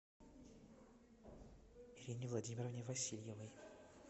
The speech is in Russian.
ирине владимировне васильевой